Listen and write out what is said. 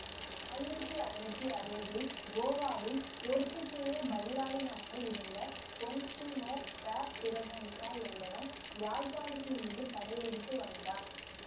ஆயிரத்தி ஐநூற்றி அறுபதில் கோவாவில் போர்த்துக்கேயப் பதிலாளுநனாக இருந்த கொன்ஸ்டன்டீனோ த பிறகன்சா என்பவன் யாழ்ப்பாணத்தின்மீது படையெடுத்து வந்தான்